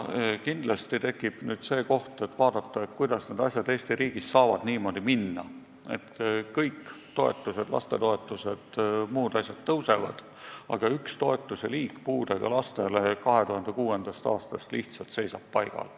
Kindlasti tekib nüüd see koht, kus saab vaadata, kuidas said asjad Eesti riigis minna niimoodi, et kõik toetused, lastetoetused jms tõusevad, aga üks toetusliik, puudega laste toetus seisab alates 2006. aastast lihtsalt paigal.